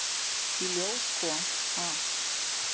Í ljós kom, að